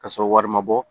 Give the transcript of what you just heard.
K'a sɔrɔ wari ma bɔ